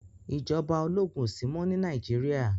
Ìjọba ológun ò sí mọ́ ní Nàìjíríà